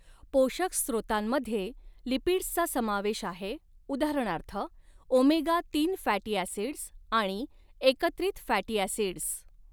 पोषक स्त्रोतांमध्ये लिपिड्सचा समावेश आहे उदाहरणार्थ ओमेगा तीन फॅटी ॲसिडस् आणि एकत्रित फॅटी ॲसिडस्.